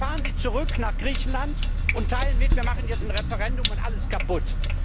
Da fahren Sie zurück nach Griechenland und teilen mit Wir machen jetzt ein Referendum und alles kaputt.